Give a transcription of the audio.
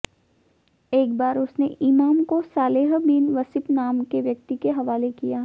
एक बार उसने इमाम को सालेह बिन वसीफ़ नाम के व्यक्ति के हवाले किया